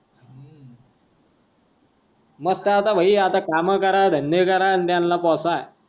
मस्त आहे आता भाई आता काम कारा धंदा कारा अन त्या पोस.